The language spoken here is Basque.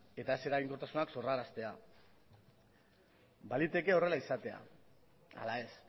eta ez eraginkortasunak sorraraztea baliteke horrela izatea ala ez